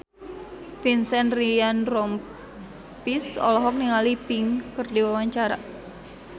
Vincent Ryan Rompies olohok ningali Pink keur diwawancara